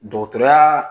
Dɔgɔtɔrɔya